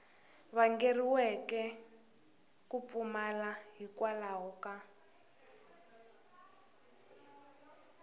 vangeriweke ku pfumala hikwalaho ka